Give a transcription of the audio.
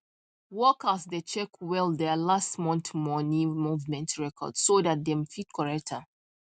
workers dey check well there last month money movement records so that them fit correct am